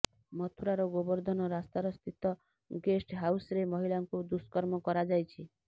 ମଥୁରାରର ଗୋବର୍ଦ୍ଧନ ରାସ୍ତାର ସ୍ଥିତ ଗେଷ୍ଟ ହାଉସ୍ରେ ମହିଳାଙ୍କୁ ଦୁଷ୍କର୍ମ କରାଯାଇଛି